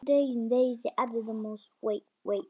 Það líður að kvöldi.